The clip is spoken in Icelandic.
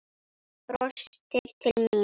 Brostir til mín.